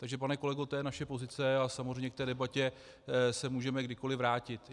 Takže pane kolego, to je naše pozice a samozřejmě k té debatě se můžeme kdykoliv vrátit.